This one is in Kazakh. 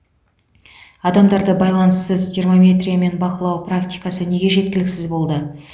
адамдарды байланыссыз термометриямен бақылау практикасы неге жеткіліксіз болды